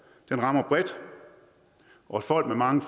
rammer bredt folk med mange